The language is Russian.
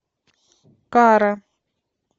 кара